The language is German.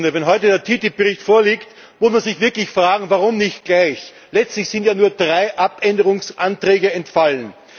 Wenn heute der TTIP Bericht vorliegt, muss man sich wirklich fragen Warum nicht gleich? Letztlich sind ja nur drei Änderungsanträge entfallen.